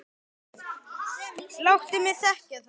Láttu mig þekkja það.